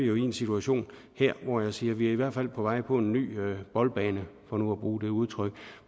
jo i en situation hvor jeg siger at vi i hvert fald er på vej på en ny boldbane for nu at bruge det udtryk